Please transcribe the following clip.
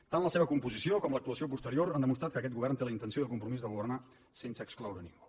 tant la seva composició com l’actuació posterior han demostrat que aquest govern té la intenció i el compromís de governar sense excloure ningú